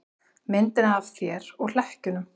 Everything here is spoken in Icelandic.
Myndina af þér og hlekkjunum.